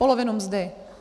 Polovinu mzdy.